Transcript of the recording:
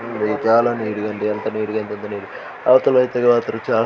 చాలా --